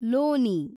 ಲೋನಿ